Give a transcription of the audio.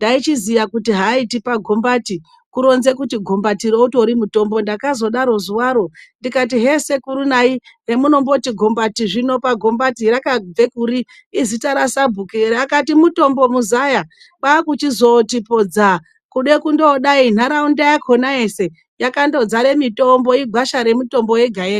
Taichiziva kuti haaiti pagombati kuronze kuti gombatiro utori mutombo. Ndakazoti zuva rimweni," Sekuru zina rekuti gombati rakabvekuri. Izita rasabhuku ere?''. Vakati mutombo muzaya, kwachizoti poti dza. Kude kundodai, nharaunda yakona yese, yakandodzare mitombo, igwasha mitombo yega ega.